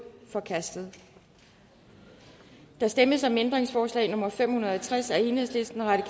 forkastet der stemmes om ændringsforslag nummer fem hundrede og tres af el